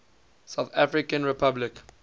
south african republic